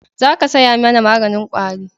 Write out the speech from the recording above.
Za ka saya mana maganin kwari